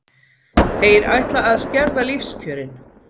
Þeir ætla að skerða lífskjörin.